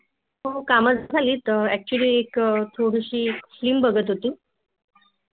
हो काम झ्हालीत ऍक्टचुली एक थोडीशी फिल्म बघत होती